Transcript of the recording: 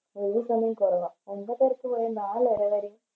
ഏത് സമയോം ഒമ്പതെരക്ക് പോയി നാലരവരെ